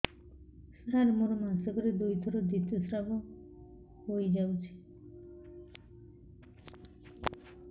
ସାର ମୋର ମାସକରେ ଦୁଇଥର ଋତୁସ୍ରାବ ହୋଇଯାଉଛି